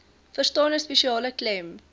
verstane spesiale klem